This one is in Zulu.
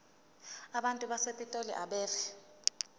abantu basepitoli abeve